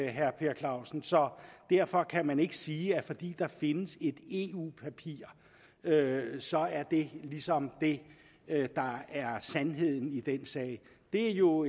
herre per clausen så derfor kan man ikke sige at fordi der findes et eu papir så er det ligesom det der er sandheden i den sag det er jo